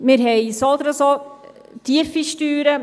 Wir haben so oder so tiefe Steuern.